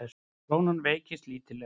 Krónan veiktist lítillega